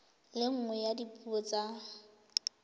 le nngwe ya dipuo tsa